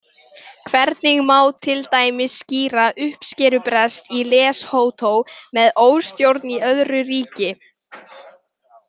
Hvernig má til dæmis skýra uppskerubrest í Leshoto með óstjórn í öðru ríki?